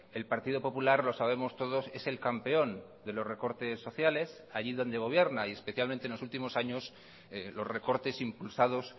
el partido popular lo sabemos todos es el campeón de los recortes sociales allí donde gobierna y especialmente en los últimos años los recortes impulsados